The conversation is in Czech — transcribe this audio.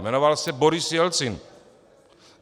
Jmenoval se Boris Jelcin.